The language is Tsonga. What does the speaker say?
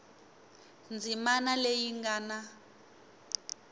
ndzimana leyi yi nga na